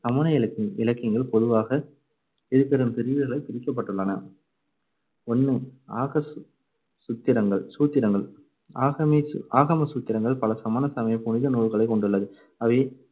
சமண இலக்கியம்~ இலக்கியங்கள் பொதுவாக இருபெரும் பிரிவுகளை பிரிக்கப்பட்டுள்ளன. ஒண்ணு ஆகம சுத்திரங்கள்~ சூத்திரங்கள் ஆகமே~ ஆகம சூத்திரங்கள் பல சமண சமயப் புனித நூல்களைக் கொண்டுள்ளது. அவை